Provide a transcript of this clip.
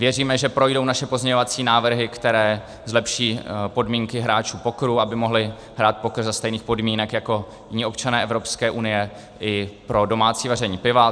Věříme, že projdou naše pozměňovací návrhy, které zlepší podmínky hráčů pokeru, aby mohli hrát poker za stejných podmínek jako jiní občané Evropské unie, i pro domácí vaření piva.